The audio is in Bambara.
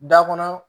Da kɔnɔ